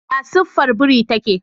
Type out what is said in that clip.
Ya siffar buri take?